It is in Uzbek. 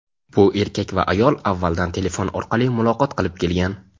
bu erkak va ayol avvaldan telefon orqali muloqot qilib kelgan.